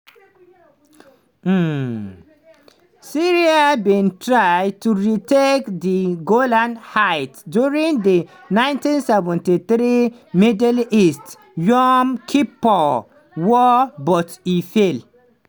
um syria bin try to retake di golan heights during di 1973 middle east (yom kippur) war but e fail.